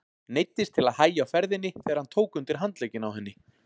Neyddist til að hægja á ferðinni þegar hann tók undir handlegginn á henni.